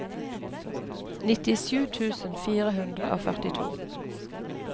nittisju tusen fire hundre og førtito